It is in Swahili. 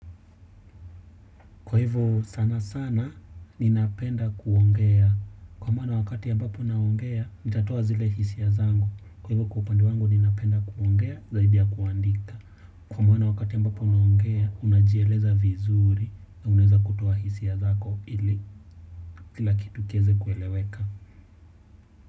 Kwa hivyo sana sana, ninapenda kuongea. Kwa maana wakati ambapo naongea, nitatoa zile hisia zangu. Kwa hivyo kwa upande wangu ninapenda kuongea, zaidi ya kuandika. Kwa maana wakati ambapo unaongea, unajieleza vizuri na unaweza kutoa hisia zako ili kila kitu kiweze kueleweka.